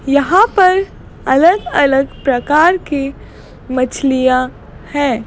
यहां पर अलग अलग प्रकार की मछलियां है।